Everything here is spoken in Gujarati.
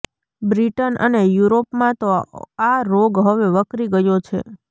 બ્રિટન અને યુરોપમાં તો આ રોગ હવે વકરી ગયો છે